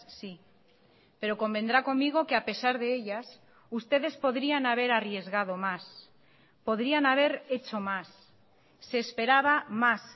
sí pero convendrá conmigo que a pesar de ellas ustedes podrían haber arriesgado más podrían haber hecho más se esperaba más